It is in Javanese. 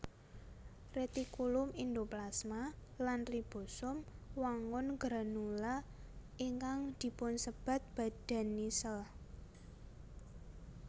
Retikulum endoplasma lan ribosom wangun granula ingkang dipunsebat badan nissl